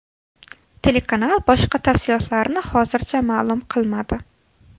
Telekanal boshqa tafsilotlarni hozircha ma’lum qilmadi.